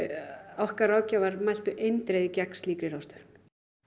okkar ráðgjafar mæltu eindregið gegn slíkri ráðstöfun